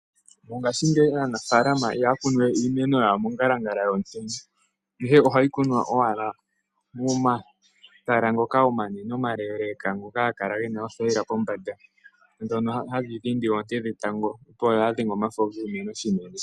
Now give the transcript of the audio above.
Mongashingeyi aanafaalama ihaya kunu we iimeno yawo mongalangala yomutenya ashike ohayi kunwa owala momatala ngoka omanene, omaleeleeka ngoka haga kala ge na oothayila pombanda, ndhono hadhi dhindi oonte dhetango opo kaadhi dhenge omafo giimeno unene.